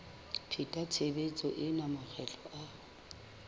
pheta tshebetso ena makgetlo a